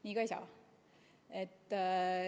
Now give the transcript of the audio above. Nii ka ei saa.